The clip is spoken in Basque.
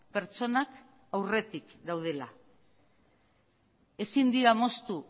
pertsonak aurretik gaudela ezin dira moztu